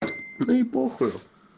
да и похуй